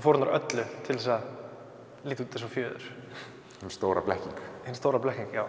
fórnar öllu til að líta út eins og fjöður hin stóra blekking hin stóra blekking já